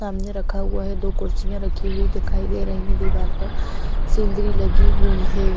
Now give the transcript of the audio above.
सामने रखा हुआ है दो कुर्सिया रखी हुई दिखाई दे रही है दीवार पर सिंदरी लगी हुई है।